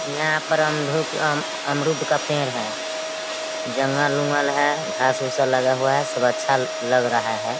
यहाँ पर अमरूद का पेड़ है। जंगल वंगल है घास वास लगा हुआ है। सब अच्छा लग रहा है।